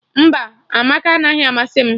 Mba, Amaka anaghị amasị m